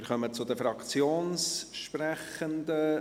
Wir kommen zu den Fraktionssprechenden.